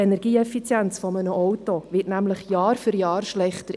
Die Energieeffizienz eines Autos wird nämlich Jahr für Jahr schlechter.